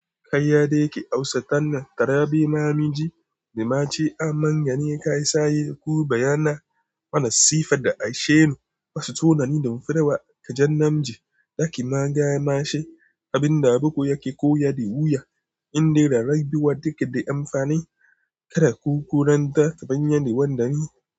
Kai ya da yake tausatan nan, tarabi mamji, da ma ce amanya ne ka yi saye ko bayana. Wannan sifa da aishe, asu tunani ne, ka jefa, daki mangae, mashi, abin da abuku ya ko ya diwuya. Inde da rajibuwa ticket demfani, ka kukuranta, babbani wandani.